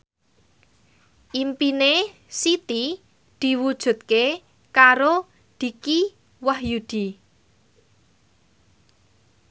impine Siti diwujudke karo Dicky Wahyudi